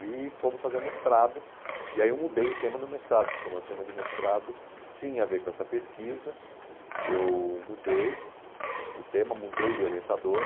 e fomos fazer o mestrado, e aí eu mudei o tema do mestrado, porque o meu tema de mestrado tinha a ver com essa pesquisa, eu mudei o tema, mudei de orientador.